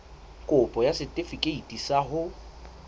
kopo ya setefikeiti sa ho